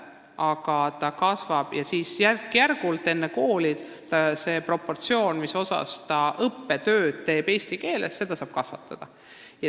Kui ta suuremaks kasvab, siis saab järk-järgult enne kooli kasvatada seda proportsiooni, kui palju ta eesti keeles õppetööd teeb.